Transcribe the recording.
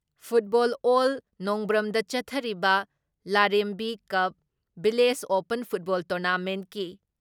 football ꯑꯦꯜ ꯅꯣꯡꯕ꯭ꯔꯝꯗ ꯆꯠꯊꯔꯤꯕ ꯂꯥꯔꯦꯝꯕꯤ ꯀꯞ ꯚꯤꯂꯦꯖ ꯑꯣꯄꯟ ꯐꯨꯠꯕꯣꯜ ꯇꯣꯔꯅꯥꯃꯦꯟꯀꯤ